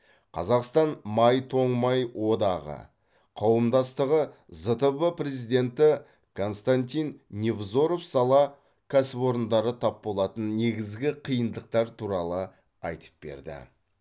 қазақстан май тоңмай одағы қауымдастығы зтб президенті константин невзоров сала кәсіпорындары тап болатын негізгі қиындықтар туралы айтып берді